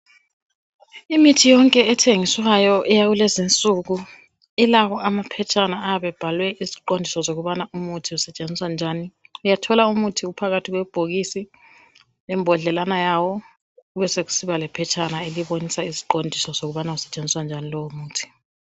Imithi yonke ethengiswayo eyakulezinsuku ilawo amaphetshana ayabe ebhalwe iziqondiso zokubana umuthi usetshenziswa njani uyathola umuthi uphakathi kwebhokisi lembodlelana yawo besekusiba lephetshana elibonisa iziqondiso zokubana usetshenziswa njan lowo muthi